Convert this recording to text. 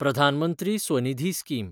Pradhan Mantri SVANidhi scheme